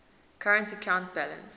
current account balance